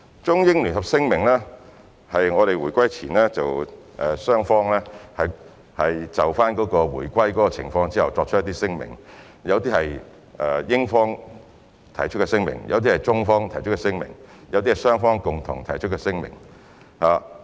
《中英聯合聲明》是在香港回歸前，中英雙方就回歸的情況作出的聲明，當中有些是英方提出，有些是中方提出，有些是雙方共同提出。